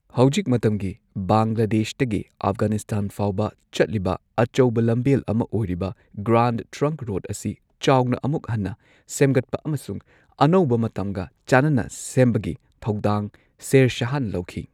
ꯍꯧꯖꯤꯛ ꯃꯇꯝꯒꯤ ꯕꯪꯒ꯭ꯂꯥꯗꯦꯁꯇꯒꯤ ꯑꯐꯒꯥꯅꯤꯁꯇꯥꯟ ꯐꯥꯎꯕ ꯆꯠꯂꯤꯕ ꯑꯆꯧꯕ ꯂꯝꯕꯦꯜ ꯑꯃ ꯑꯣꯏꯔꯤꯕ ꯒ꯭ꯔꯥꯟꯗ ꯇ꯭ꯔꯪꯛ ꯔꯣꯗ ꯑꯁꯤ ꯆꯥꯎꯅ ꯑꯃꯨꯛ ꯍꯟꯅ ꯁꯦꯝꯒꯠꯄ ꯑꯃꯁꯨꯡ ꯑꯅꯧꯕ ꯃꯇꯝꯒ ꯆꯥꯅꯅ ꯁꯦꯝꯕꯒꯤ ꯊꯧꯗꯥꯡ ꯁꯦꯔ ꯁꯍꯥꯅ ꯂꯧꯈꯤ꯫